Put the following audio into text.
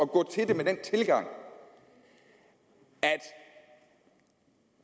gå til det med den tilgang at